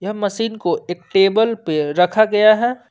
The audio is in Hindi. मशीन को एक टेबल पे रखा गया है।